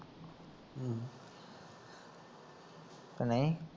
ਕਿ ਨਈਂ